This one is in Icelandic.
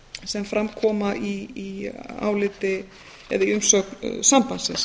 sem fram koma í áliti eða í umsögn sambandsins